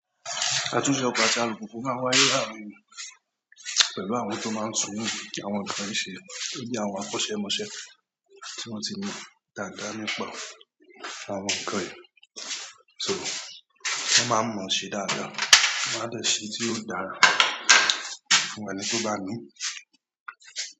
A tún ṣe ọ̀pá jálù púpọ̀ fún àwọn ìyá àwọn pẹ̀lú àwọn tó máa ń sunù kí àwọn ọkùnrin ṣe, bí i àwọn akọ́ṣẹ́mọṣẹ́ tí wọ́n ti mọ dáadáa nípa àwọn nǹkan yìí. So wọ́n máa ń mọ ṣe dáadáa, wọ́n á dẹ̀ ṣeé tí ó dára fún ẹni tó bá nií.